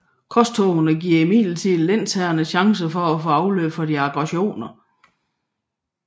Korstogene giver imidlertid lensherrerne chancen for at få afløb for deres aggressioner